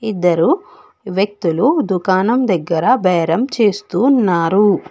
ఇద్దరు వ్యక్తులు దుకాణం దగ్గర బేరం చేస్తూ ఉన్నారు.